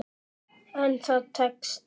En það tekst.